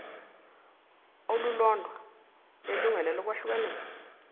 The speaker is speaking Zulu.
olulodwa lelungelo lokwehlukaniswa